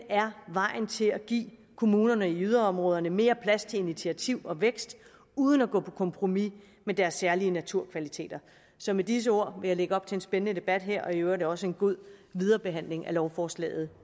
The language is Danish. er vejen til at give kommunerne i yderområderne mere plads til initiativ og vækst uden at gå på kompromis med deres særlige naturkvaliteter så med disse ord vil jeg lægge op til en spændende debat her og i øvrigt også en god videre behandling af lovforslaget